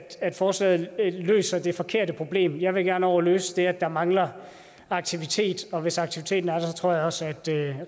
forslaget løser det forkerte problem jeg vil gerne over og løse det at der mangler aktivitet hvis aktiviteten er der tror jeg også at